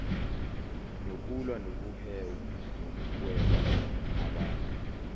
nokulwa nokuhweba ngabantu